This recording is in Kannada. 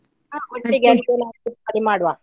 ಆ ಮಾಡುವ.